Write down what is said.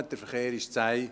Der Verkehr lief zäh.